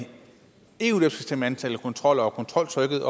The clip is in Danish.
eu bestemme antallet af kontroller og kontroltrykket